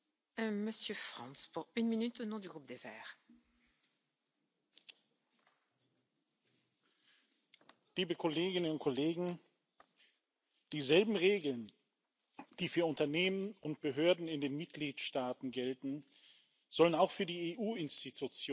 Frau Präsidentin, liebe Kolleginnen und Kollegen! Dieselben Regeln, die für Unternehmen und Behörden in den Mitgliedstaaten gelten, sollen auch für die EU Institutionen gelten.